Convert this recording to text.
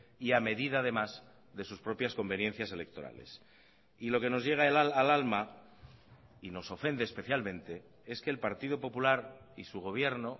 y a medida además de sus propias conveniencias electorales y lo que nos llega al alma y nos ofende especialmente es que el partido popular y su gobierno